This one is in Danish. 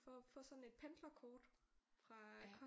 For at få sådan et pendlerkort fra